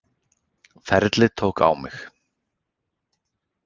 Ferlið tók á mig